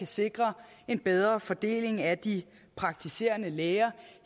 sikre en bedre fordeling af de praktiserende læger